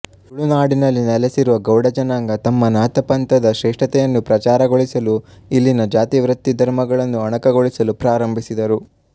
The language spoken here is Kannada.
ತುಳುನಾಡಿನಲ್ಲಿ ನೆಲೆಸಿರುವ ಗೌಡ ಜನಾಂಗ ತಮ್ಮ ನಾಥಪಂಥದ ಶ್ರೇಷ್ಠತೆಯನ್ನು ಪ್ರಚಾರಗೊಳಿಸಲು ಇಲ್ಲಿನ ಜಾತಿ ವೃತ್ತಿ ಧರ್ಮಗಳನ್ನು ಅಣಕಗೊಳಿಸಲು ಪ್ರಾರಂಭಿಸಿದರು